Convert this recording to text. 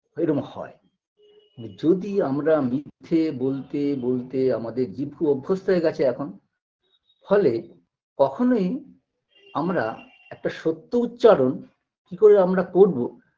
ঐরম হয় যদি আমরা মিথ্যে বলতে বলতে আমাদের জিভু অভ্যস্ত হয়ে গেছে এখন ফলে কখনোই আমরা একটা সত্য উচ্চারণ কি করে আমরা করবো